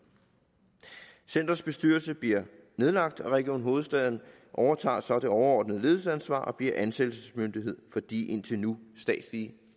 centerets bestyrelse bliver nedlagt og region hovedstaden overtager så det overordnede ledelsesansvar og bliver ansættelsesmyndighed for de indtil nu statsligt